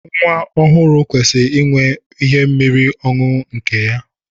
Nwa ọhụụ kwesiri inwe ihe mmiri ọṅụṅụ nke ya.